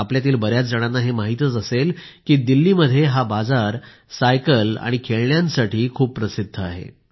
आपल्यातील बर्याच जणांना हे माहित असेलच की दिल्लीमध्ये हा बाजार सायकल आणि खेळण्यांसाठी खूप प्रसिद्ध आहे